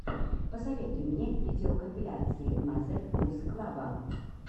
посоветуй мне видеокомпиляции мазер гуз клаба